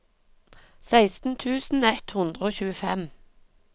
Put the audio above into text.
seksten tusen ett hundre og tjuefem